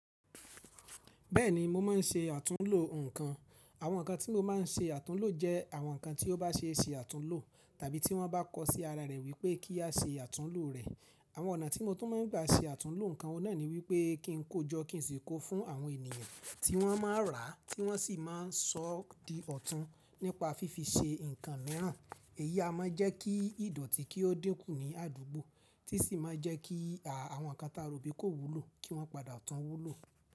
Bẹ́ẹ̀ni, mo máa ń ṣe àtúnlo nǹkan. Àwọn nǹkan tí mo máa ń ṣe àtúnlo jẹ́ àwọn nǹkan tí ó bá ṣe é ṣe àtúnlo tàbí tí wọ́n bá kọ sí ara rẹ̀ wípé kí a ṣe àtúnlo rẹ̀. Àwọn ọ̀nà tí mo tún máa ń gbà ṣe àtúnlo nǹkan náà ni wípé kí n kó jọ́ kí n sì kó fún àwọn ènìyàn tí wọ́n máa rà á tí wọ́n sì máa sọ di ọ̀tún nípa fífi ṣe nǹkan mìíràn. Èyí a máa jẹ́ kí ìdọ̀tí kí ó dínkù ní àdúgbò tí sì máa jẹ́ kí àwọn nǹkan tá ròbí kó wúlò kí wọ́n padà tún wúlò.